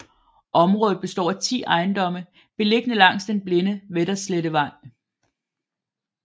Området består af 10 ejendomme beliggende langs den blinde Vesterslettevej